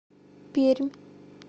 пермь